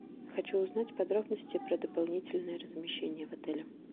хочу узнать подробности про дополнительное размещение в отеле